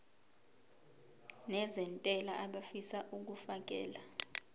nezentela abafisa uukfakela